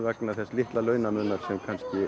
vegna þess litla launamunar sem